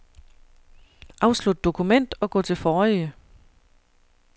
Afslut dokument og gå til forrige.